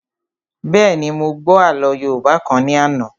Bẹ́ẹ̀ni, mo gbọ́ àlọ́ yóòbá kan ní àná